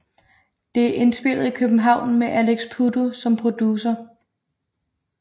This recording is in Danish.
Det er indspillet i København med Alex Puddu som producer